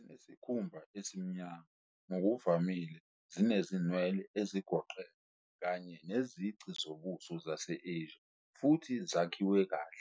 Zinesikhumba esimnyama, ngokuvamile zinezinwele ezigoqene kanye nezici zobuso zase-Asia, futhi zakhiwe kahle.